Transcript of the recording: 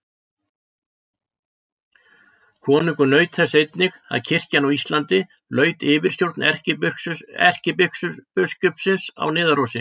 Konungur naut þess einnig að kirkjan á Íslandi laut yfirstjórn erkibiskupsins á Niðarósi.